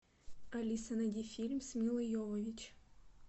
алиса найди фильм с милой йовович